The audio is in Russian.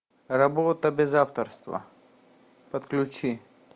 работа без авторства подключи